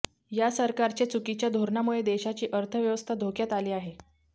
या सरकारच्या चुकीच्या धोरणामुळे देशाची अर्थव्यवस्था धोक्यात आली आहे